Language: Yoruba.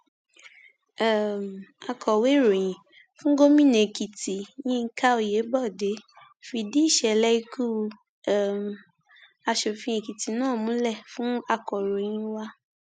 um akọwé ìròyìn fún gómìnà èkìtì yinka oyebode fìdí ìṣẹlẹ ikú um asòfin ekìtì náà múlẹ fún akòròyìn wa